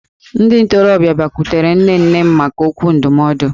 Ndị ntorobịa obodo bịakwutere nne nne m maka okwu ndụmọdụ